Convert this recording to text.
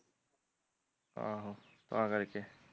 ਆਹੋ, ਤਾਂ ਕਰਕੇ